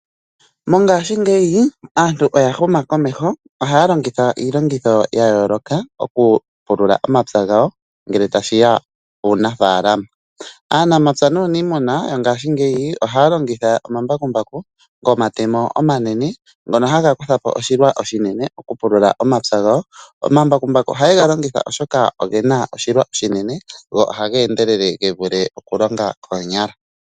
Mongaashingeyi aantu oya huma komeho. Ohaya longitha iilongitho ya yooloka okupulula omapya gawo ngele tashi ya puunafaalama. Aanamapya naaniimuna ngashingeyi ohaya longitha omambakumbaku gomatemo omanene ngono haga kutha po oshilwa oshinene okupulula omapya gawo. Omambakumbu oha ye ga longitha oshoka oge na oshilwa oshinene go oha ga endelele ge vule okulonga koonyala